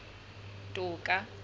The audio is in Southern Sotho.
toka